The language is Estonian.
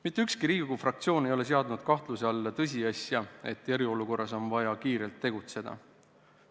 Mitte ükski Riigikogu fraktsioon ei ole seadnud kahtluse alla tõsiasja, et eriolukorras on vaja kiirelt tegutseda.